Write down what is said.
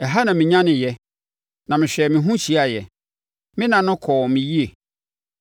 Ɛha na menyaneeɛ, na mehwɛɛ me ho hyiaeɛ. Me nna no kɔɔ me yie.